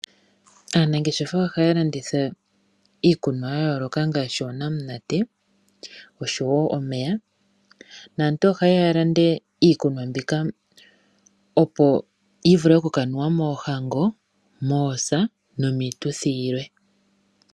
Aanangeshefa ohaya landitha iikunwa ya yooloka ngaashi oonamunate oshowo omeya naantu ohaye ya ya lande iikunwa mbika, opo yi vule oku ka nuwa moohango, moosa nomiituthi yilwe.